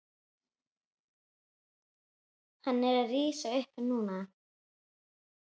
Hann er að rísa upp núna.